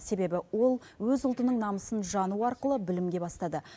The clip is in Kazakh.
себебі ол өз ұлтының намысын жану арқылы білімге бастады